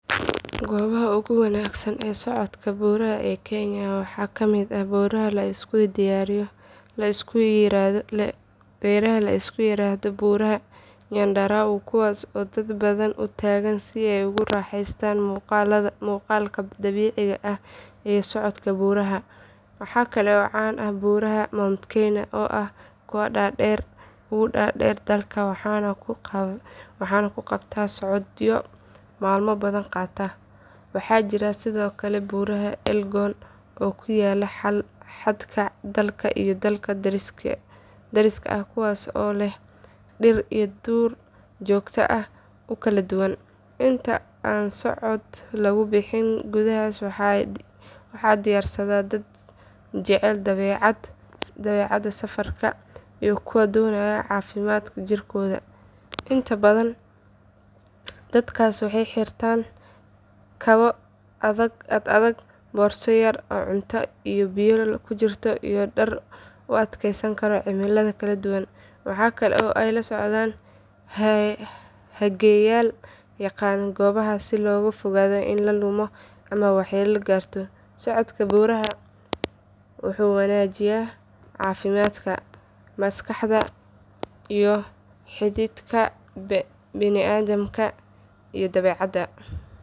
Goobaha ugu wanaagsan ee socodka buuraha ee kenya waxaa ka mid ah buuraha la isku yiraahdo buuraha nyandarua kuwaas oo dad badan u tagaan si ay ugu raaxaystaan muuqaalka dabiiciga ah iyo socodka buuraha. Waxaa kale oo caan ah buuraha mount kenya oo ah kuwa ugu dhaadheer dalka waxaana lagu qabtaa socodyo maalmo badan qaata. Waxaa jira sidoo kale buuraha elgon oo ku yaalla xadka dalka iyo dalka dariska ah kuwaas oo leh dhir iyo duur joog aad u kala duwan. Inta aan socod lagu bixin goobahaas waxaa diyaarsada dad jecel dabeecadda, safarka iyo kuwa doonaya caafimaad jirkooda ah. Inta badan dadkaas waxay xirtaan kabo ad adag, boorso yar oo cunto iyo biyo ku jirto iyo dhar u adkeysan kara cimilo kala duwan. Waxa kale oo ay la socdaan hageyaal yaqaan goobahaas si looga fogaado in la lumo ama waxyeelo soo gaarto. Socodka buuraha wuxuu wanaajiyaa caafimaadka, maskaxda iyo xidhiidhka bini’aadamka iyo dabeecadda.